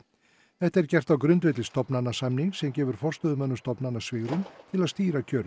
þetta er gert á grundvelli stofnanasamnings sem gefur forstöðumönnum stofnana svigrúm til að stýra kjörum